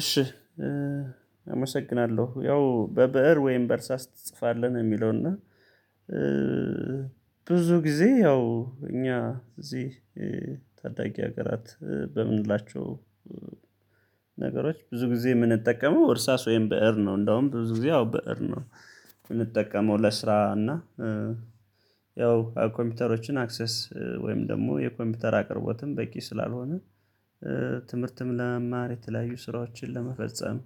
እሺ አመሰግናለሁ ያው በብእር ወይም በእርሳስ ትጽፋለህ ነው የሚለው። እና ብዙ ጊዜ ያው እኛ እዚህ ታዳጊ ሀገራት በምንላቸው ነገሮች ብዙ ጊዜ የምንጠቀመው እርሳስ ወይም ብእር ነው። እንደውም ብዙ ጊዜ አዎ ብእር ነው የምንጠቀመው ለስራ እና ያው ኮምፒውተሮችን አክሰስ ወይም ደግሞ የኮምፒውተር አቅርቦትም በቂ ስላልሆነ። ትምህርትም ለመማር የተለያዩ ስራዎችን ለመፈጸም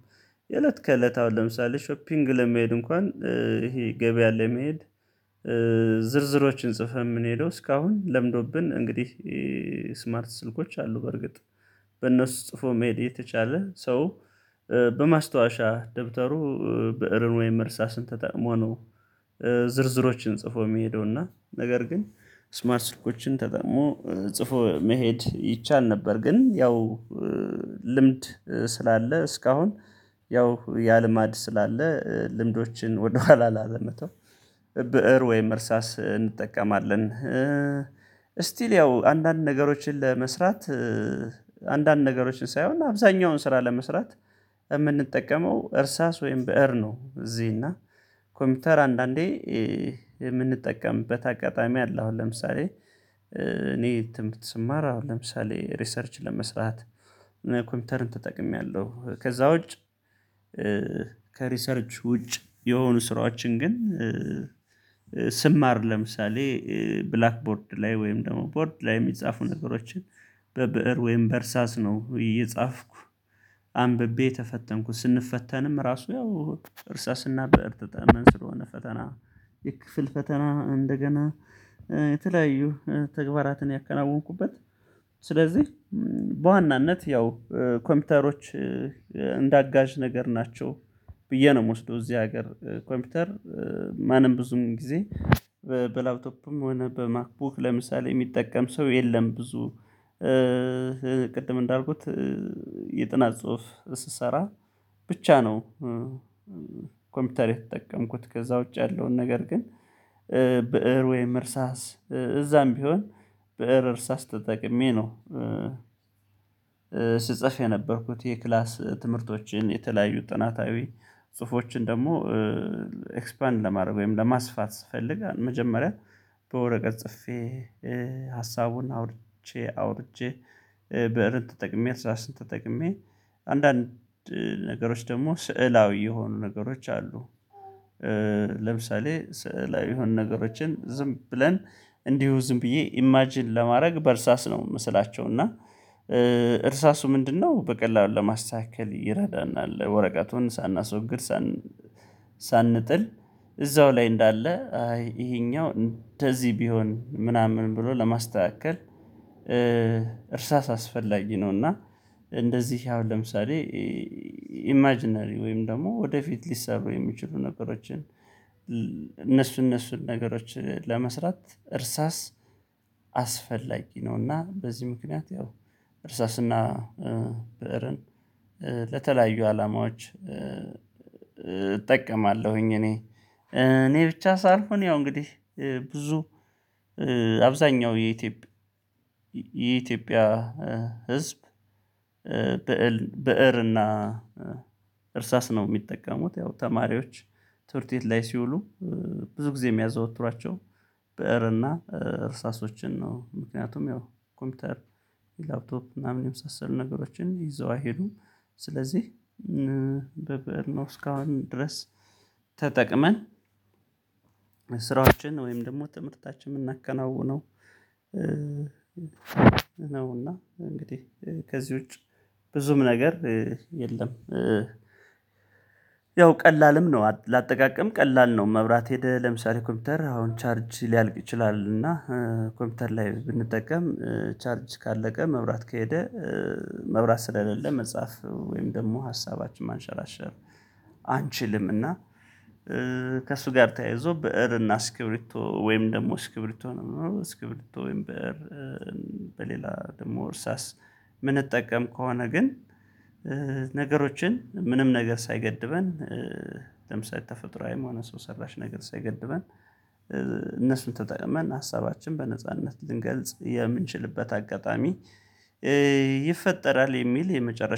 የእለት ከእለት አሁን ለምሳሌ ሾፒንግ ለመሄድ እንኳን ይሄ ገበያ ለመሄድ። ዝርዝሮችን ጽፈን የምንሄደው እስካሁን ለምዶብን እንግዲህ ስማርት ስልኮች አሉ በርግጥ በነሱ ጽፎ መሄድ እየተቻለ ሰው በማስታወሻ ደብተሩ ብእርን ወይም እርሳስን ተጠቅሞ ነው። ዝርዝሮችን ጽፎ የሚሄደው እና ነገር ግን ስማርት ስልኮችን ተጠቅሞ ጽፎ መሄድ ይቻል ነበር። ግን ያው ልምድ ስላለ እስካሁን ያው ያ ልማድ ስላለ ልምዶችን ወደኋላ ላለመተው ብእር ወይም እርሳስ እንጠቀማለን። ስቲል ያው አንዳንድ ነገሮችን ለመስራት አንዳንድ ነገሮችን ሳይሆን አብዛኛውን ስራ ለመስራት የምንጠቀመው እርሳስ ወይም ብእር ነው። እዚህ እና ኮምፒውተር አንዳንዴ የምንጠቀምበት አጋጣሚ አለ አሁን ለምሳሌ እኔ ትምህርት ስማር አሁን ለምሳሌ ሪሰርች ለመስራት ኮምፒውተርን ተጠቅሜያለሁ። ከዛ ውጭ ከሪሰርች ውጭ የሆኑ ስራዎችን ግን ስማር ለምሳሌ ብላክ ቦርድ ላይ ወይም ደግሞ ቦርድ ላይ የሚጻፉ ነገሮችን በብእር ወይም በእርሳስ ነው። እየጻፍኩ አንብቤ የተፈተንኩ ስንፈተንም ራሱ ያው እርሳስና በእርሳስ ተጠቅመን ስለሆነ ፈተና የክፍል ፈተና እንደገና የተለያዩ ተግባራትን ያከናወንኩበት ስለዚህ በዋናነት ያው ኮምፒውተሮች እንዳጋዥ ነገር ናቸው። ብዬ ነው የምወስደው እዚህ ሀገር ኮምፒውተር ማንም ብዙም ጊዜ በላውቶፕም ሆነ በማክቡክ ለምሳሌ የሚጠቀም ሰው የለም። ብዙ እንዳልኩት የጥናት ጽሁፍ ስሰራ ብቻ ነው። የተጠቀምኩት ከዛ ውጪ ያለውን ነገር ግን ብእር ወይም እርሳስ እዛም ቢሆን በእር እርሳስ ተጠቅሜ ነው። ስጸፍ የነበርኩት የክላስ ትምህርቶችን የተለያዩ ጥናታዊ ጽሁፎችን ደግሞ ኤክስፓንድ ለማድረግ ወይም ለማስፋት ስፈልግ መጀመሪያ በወረቀት ጽፌ ሀሳቡን አውርጄ አውርቼ ብእርን ተጠቅሜ አርሳስን ተጠቅሜ አንዳንድ ነገሮች ደግሞ ስዕላዊ የሆኑ ነገሮች አሉ። ለምሳሌ ስዕላዊ የሆኑ ነገሮችን ዝም ብለን እንዲሁ ዝም ብዬ ኢማጅን ለማድረግ በእርሳስ ነው የምስላቸው እና እርሳሱ ምንድነው በቀላሉ ለማስተካከል ይረዳናል ወረቀቱን ሳናስወግድ ሳን ሳንጥል እዛው ላይ እንዳለ አይ ይሄኛው እንደዚህ ቢሆን ምናምን ብሎ ለማስተካከል እርሳስ አስፈላጊ ነው። እና እንደዚህ አሁን ለምሳሌ ኢማጅነሪ ወይም ደግሞ ወደፊት ሊሰሩ የሚችሉ ነገሮችን እነሱን እነሱን ነገሮች ለመስራት እርሳስ አስፈላጊ ነው። እና በዚህ ምክንያት ያው እርሳስና ብእርን አላማዎች እጠቀማለሁኝ እኔ እኔ ብቻ ሳልሆን ያው እንግዲህ ብዙ አብዛኛው የኢትዮጵያ የኢትዮጵያ ህዝብ ብእር እና እርሳስ ነው የሚጠቀሙት ያው ተማሪዎች ትምህርትቤት ላይ ሲውሉ ብዙ ጊዜ የሚያዘወትሯቸው ብእር እና እርሳሶችን ነው። ምክንያቱም ያው ኮምፒውተር ላፕቶፕ ምናምን የመሳሰሉ ነገሮችን ይዘው አይሄዱም። ስለዚህ በብእር ነው እስካሁን ድረስ ተጠቅመን ስራዎችን ወይም ደግሞ ትምህርታችን የምናከናውነው ነው እና እንግዲህ ከዚህ ውጪ ብዙም ነገር የለም። ያው ቀላልም ነው ለአጠቃቀም ቀላል ነው መብራት ሄደ ለምሳሌ ኮምፒውተር አሁን ቻርጅ ሊያልቅ ይችላል። እና ኮምፒውተር ላይ ብንጠቀም ቻርጅ ካለቀ መብራት ከሄደ መብራት ስለሌለ መጻፍ ወይም ደግሞ ሀሳባችን ማንሸራሸር አንችልም። እና ከእሱ ጋር ተያይዞ ብእርና እስክብሪቶ ወይም ደግሞ እስክብሪቶ ነው እስክብሪቶ ወይም ብእር በሌላ ደግሞ እርሳስ የምንጠቀም ከሆነ ግን ነገሮችን ምንም ነገር ሳይገድበን ተፈጥሮአዊ ሆነ ሰው ሰራሽ ነገር ሳይገድበን እነሱን ተጠቅመን ሀሳባችን በነጻነት ልንገልጽ የምንችልበት አጋጣሚ ይፈጠራል። የሚል የመጨረሻ